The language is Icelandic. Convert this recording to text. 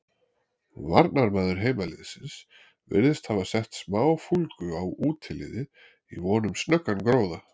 Varnarmaður heimaliðsins virðist hafa sett smá fúlgu á útiliðið í von um snöggan gróða.